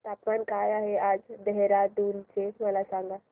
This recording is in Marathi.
तापमान काय आहे आज देहराडून चे मला सांगा